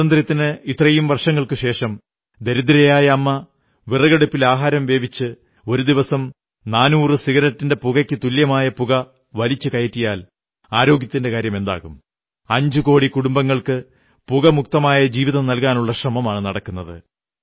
സ്വാതന്ത്ര്യത്തിന് ഇത്രയും വർഷങ്ങൾക്കു ശേഷം ദരിദ്രയായ അമ്മ വിറകടുപ്പിൽ ആഹാരം വേവിച്ച് ഒരു ദിവസം 400 സിഗരറ്റിന്റെ പുകയ്ക്കു തുല്യമായ പുക വലിച്ചുകയറ്റിയാൽ ആരോഗ്യത്തിന്റെ കാര്യമെന്താകും 5 കോടി കുടുംബങ്ങൾക്ക് പുകമുക്തമായ ജീവിതം നല്കാനുള്ള ശ്രമമാണു നടക്കുന്നത്